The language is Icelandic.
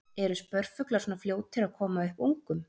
Eru spörfuglar svona fljótir að koma upp ungum?